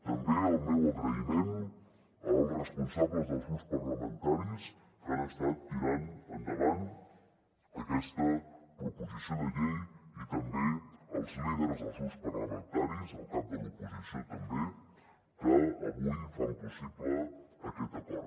també el meu agraïment als responsables dels grups parlamentaris que han estat tirant endavant aquesta proposició de llei i també als líders dels grups parlamentaris el cap de l’oposició també que avui fan possible aquest acord